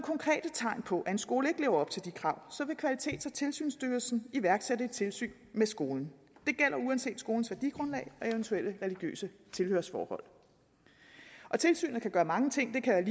tegn på at en skole ikke lever op til de krav så vil kvalitets og tilsynsstyrelsen iværksætte et tilsyn med skolen det gælder uanset skolens værdigrundlag og eventuelle religiøse tilhørsforhold tilsynet kan bestå af mange ting det kan